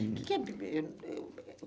O que que é?